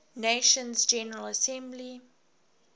nations general assembly